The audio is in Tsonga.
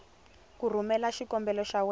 ku rhumela xikombelo xa wena